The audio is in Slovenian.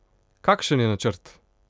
Kakšen je načrt?